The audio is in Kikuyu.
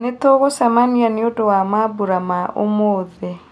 nĩ tũngũcemania nĩ ũndũ wa mambũra ma ũmũthi